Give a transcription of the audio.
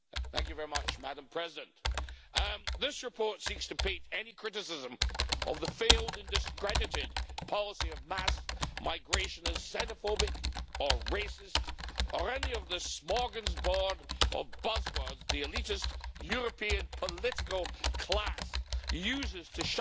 Madam President, this reports seeks to paint any criticism of the failed and discredited policy of mass migration as xenophobic or racist or any of the smorgasbord of buzzwords the elitist European political class uses to shut down